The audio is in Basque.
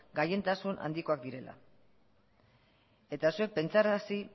gailentasun handikoak direla eta zuek pentsarazi